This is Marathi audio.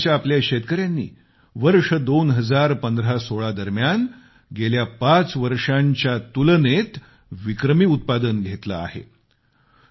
मेघालयच्या आपल्या शेतकऱ्यानी वर्ष 2015 16 दरम्यान गेल्या पाच वर्षांच्या तुलनेत विक्रमी उत्पादन घेतले आहे